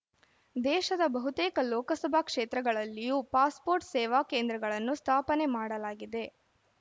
ದೇಶದ ಬಹುತೇಕ ಲೋಕಸಭಾ ಕ್ಷೇತ್ರಗಳಲ್ಲಿಯೂ ಪಾಸ್‌ಪೋರ್ಟ್‌ ಸೇವಾ ಕೇಂದ್ರಗಳನ್ನು ಸ್ಥಾಪನೆ ಮಾಡಲಾಗಿದೆ